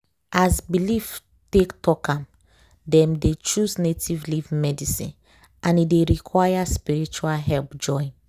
as belief take talk am dem dey choose native leaf medicine and e dey require spiritual help join.